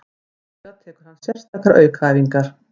Í lok æfinga tekur hann sérstakar aukaæfingar.